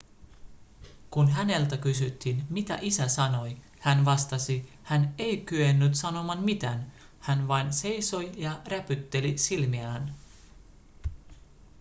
kun häneltä kysyttiin mitä isä sanoi hän vastasi hän ei kyennyt sanomaan mitään hän vain seisoi ja räpytteli silmiään